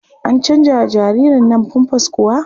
An canjawa jaririrn nan famfas kuwa?